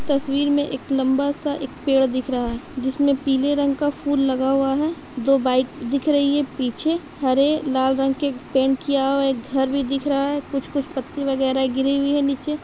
तस्वीर में एक लम्बा सा एक पेड़ दिख रहा है जिसमें पिले रंग का फूल लगा हुआ है दो बाइक दिख रही है पीछे हरे लाल रंग के एक पेंट किया हुआ एक घर भी दिख रहा है कुछ कुछ पत्ती वगैरा गिरी हुई है निचे ।